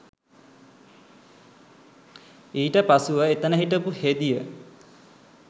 ඊට පසුව එතන හිටපු හෙදිය